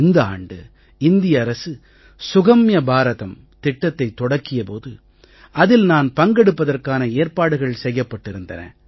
இந்த ஆண்டு இந்திய அரசு சுகம்ய பாரதம் திட்டத்தைத் தொடக்கிய போது அதில் நான் பங்கெடுப்பதற்கான ஏற்பாடுகள் செய்யப்பட்டிருந்தன